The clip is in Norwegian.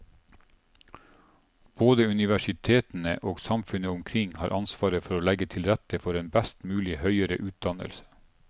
Både universitetene og samfunnet omkring har ansvar for å legge til rette for en best mulig høyere utdannelse.